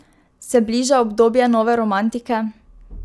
Se bliža obdobje nove romantike?